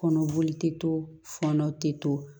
Kɔnɔboli tɛ to fɔnɔ tɛ to